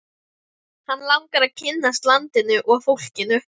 Hann langar að kynnast landinu og fólkinu.